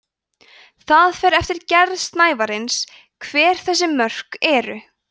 það fer eftir gerð snævarins hver þessi mörk eru